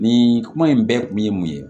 Nin kuma in bɛɛ kun ye mun ye